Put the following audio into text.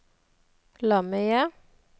lomme-IE